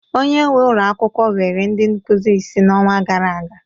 Onye nwe ulọ akwụkwọ were ndị nkuzi ise n'ọnwa gara aga